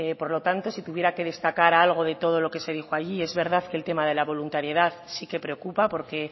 por lo tanto si tuviera que destacar algo de todo lo que se dijo allí es verdad que el tema de la voluntariedad sí que preocupa porque